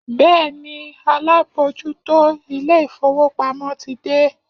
Bẹ́ẹ̀ni, alábòójútó ilé-ìfowópamọ́ ti dé